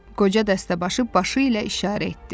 Qoca dəstəbaşı başı ilə işarə etdi.